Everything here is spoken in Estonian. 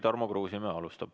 Tarmo Kruusimäe alustab.